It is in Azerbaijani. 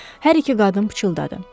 Hər iki qadın pıçıldadı.